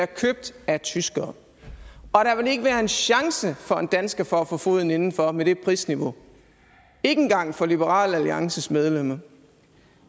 købt af tyskere og der vil ikke være en chance for en dansker for at få foden indenfor med det prisniveau ikke engang for liberal alliances medlemmer